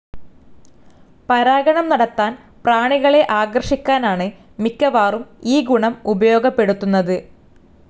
പരാഗണം നടത്താൻ പ്രാണികളെ ആകർഷിക്കാനാണ് മിക്കവാറും ഈ ഗുണം ഉപയോഗപ്പെടുത്തുന്നത്.